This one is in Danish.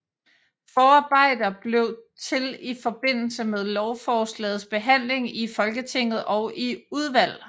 Forarbejder blev til i forbindelse med lovforslagets behandling i Folketinget og i udvalg